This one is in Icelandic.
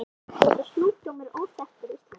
Þessi sjúkdómur er óþekktur á Íslandi.